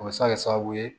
O bɛ se ka kɛ sababu ye